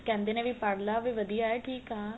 ਕਹਿੰਦੇ ਨੇ ਵੀ ਪੜ ਲੇ ਵੀ ਵਧੀਆ ਠੀਕ ਆ